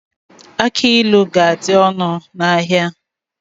Agbailu ga-adị ọnụ n'ahia.